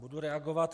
Budu reagovat.